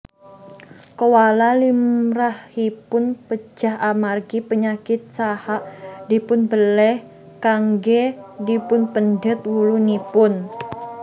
Koala limrahipun pejah amargi penyakit saha dipunbeléh kanggé dipunpendhet wulunipun